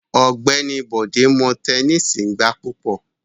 Ọgbẹni Bode mo tẹnisi gba pupọ